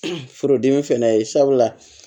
Furudimi fɛnɛ ye sabula